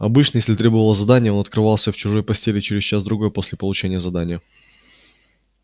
обычно если требовало задание он открывался в чужой постели через час-другой после получения задания